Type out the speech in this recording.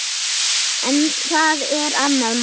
En það er annað mál.